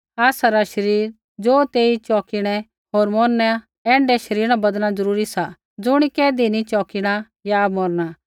आसरा शरीर ज़ो तेई चौकिणै होर मौरना ऐण्ढै शरीरा न बदलणा ज़रूरी सा ज़ुणी कैधी नी चौकिणै या मौरना